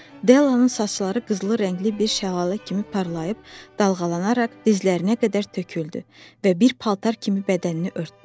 Dellanın saçları qızılı rəngli bir şəlalə kimi parlayıb dalğalanaraq dizlərinə qədər töküldü və bir paltar kimi bədənini örtdü.